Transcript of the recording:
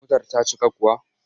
Motar ta cika kuwa?